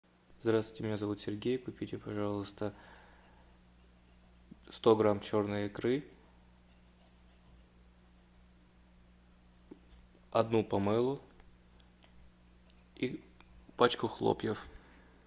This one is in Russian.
здравствуйте меня зовут сергей купите пожалуйста сто грамм черной икры одну помелу и пачку хлопьев